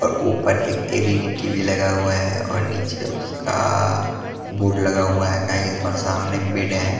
और ऊपर एक एल_ई_डी टी_वी लगा हुआ है और नीचे उसका आ आ बोर्ड लगा हुआ है और सामने बेड है ।